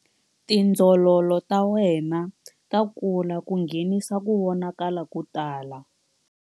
Tindzololo ta wena ta kula ku nghenisa ku vonakala ko tala.